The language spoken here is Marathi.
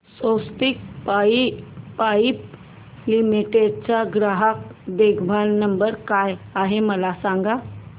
स्वस्तिक पाइप लिमिटेड चा ग्राहक देखभाल नंबर काय आहे मला सांगा